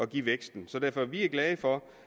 give væksten så derfor vi er glade for